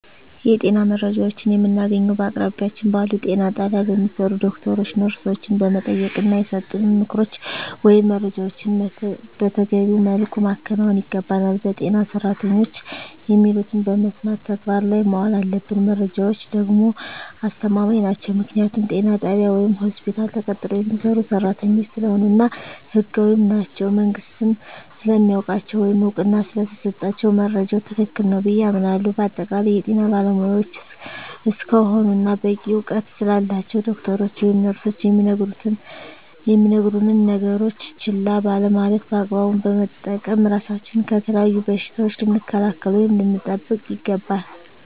የጤና መረጃዎችን የምናገኘዉ በአቅራቢያችን ባሉ ጤና ጣቢያ በሚሰሩ ዶክተሮችን ነርሶችን በመጠየቅና የሰጡንን ምክሮች ወይም መረጃዎችን መተገቢዉ መልኩ ማከናወን ይገባናል በጤና ሰራተኖች የሚሉትን በመስማት ተግባር ላይ ማዋል አለብን መረጃዎች ደግሞ አስተማማኝ ናቸዉ ምክንያቱም ጤና ጣቢያ ወይም ሆስፒታል ተቀጥረዉ የሚሰሩ ሰራተኞች ስለሆኑ እና ህጋዊም ናቸዉ መንግስትም ስለሚያዉቃቸዉ ወይም እዉቅና ስለተሰጣቸዉ መረጃዉ ትክክል ነዉ ብየ አምናለሁ በአጠቃላይ የጤና ባለሞያዎች እስከሆኑና በቂ እዉቀት ስላላቸዉ ዶክተሮች ወይም ነርሶች የሚነግሩነን ነገሮች ችላ ባለማለት በአግባቡ በመጠቀም ራሳችንን ከተለያዩ በሽታዎች ልንከላከል ወይም ልንጠብቅ ይገባል